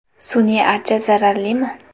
Sun’iy archa zararlimi?.